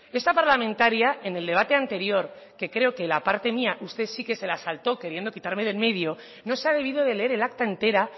esta parlamentaria en el debate anterior que creo que la parte mía usted sí que se la saltó queriendo quitarme de en medio no se ha debido de leer el acta entera